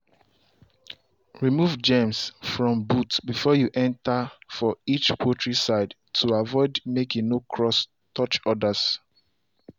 remove germs from boots before you enter for each poultry side to avoid make e no cross touch others.